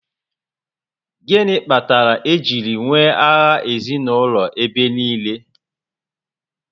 Gịnị kpatara e jiri nwee agha ezinaụlọ ebe niile?